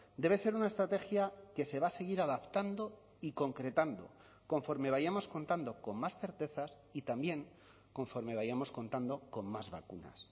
debe ser una estrategia que se va a seguir adaptando y concretando conforme vayamos contando con más certezas y también conforme vayamos contando con más vacunas